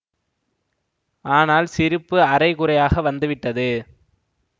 ஆனால் சிரிப்பு அரை குறையாக வந்துவிட்டது